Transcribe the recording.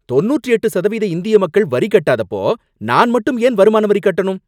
தொண்ணூற்று எட்டு சதவீத இந்திய மக்கள் வரி கட்டாதப்போ நான் மட்டும் ஏன் வருமான வரி கட்டணும்?